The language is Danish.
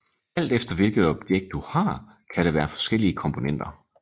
Alt efter hvilket objekt du har kan der være forskellige komponenter